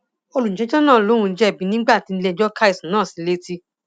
olùjẹjọ náà lòún jẹbi nígbà tílẹẹjọ ka ẹsùn náà sí i létí